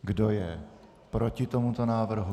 Kdo je proti tomuto návrhu?